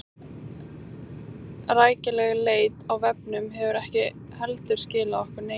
Rækileg leit á vefnum hefur ekki heldur skilað okkur neinu.